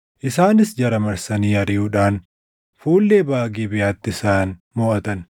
Isaanis jara marsanii ariʼuudhaan fuullee baʼa Gibeʼaatti isaan moʼatan.